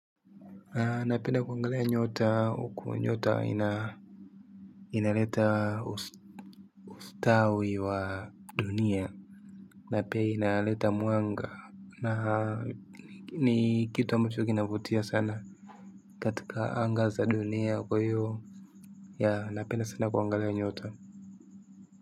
Napenda kuangalia nyota uku nyota. Inaleta ustawi wa dunia. Na pia inaleta mwanga na ni kitu ambacho kinavutia sana. Katika anga za dunia kwa iyo napenda sana kuangalia nyota.